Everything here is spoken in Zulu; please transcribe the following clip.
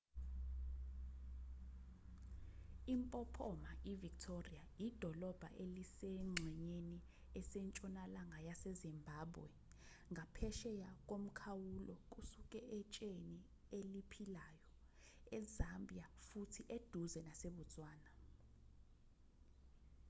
impophoma ivictoria idolobha elisengxenyeni esentshonalanga yasezimbabwe ngaphesheya komkhawulo kusuka etsheni eliphilayo ezambia futhi eduze nasebotswana